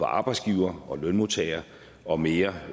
arbejdsgivere og lønmodtagere og mere